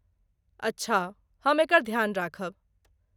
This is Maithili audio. अच्छा, हम एकर ध्यान राखब।